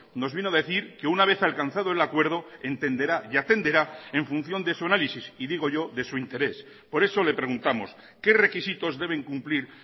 nos vino a decir que una vez alcanzado el acuerdo entenderá y atenderá en función de su análisis y digo yo de su interés por eso le preguntamos qué requisitos deben cumplir